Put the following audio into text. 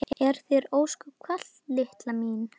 Er þér ósköp kalt litla mín?